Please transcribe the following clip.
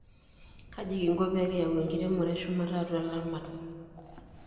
Kaji kinko pee kiyau enkiremore eshumata atua ilaramatak?